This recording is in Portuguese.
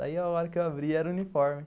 Daí a hora que eu abri, era o uniforme.